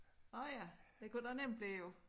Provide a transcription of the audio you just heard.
Nåh ja det kunne der nemt blive jo